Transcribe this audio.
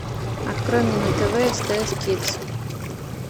открой мне на тв стс кидс